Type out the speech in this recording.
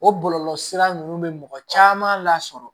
O bɔlɔlɔsira ninnu bɛ mɔgɔ caman lasɔrɔ